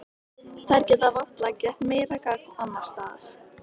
Þær geta varla gert meira gagn annars staðar.